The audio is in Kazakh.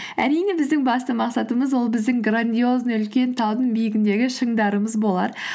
әрине біздің басты мақсатымыз ол біздің грандиозный үлкен таудың биігіндегі шыңдарымыз болар